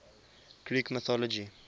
greek mythology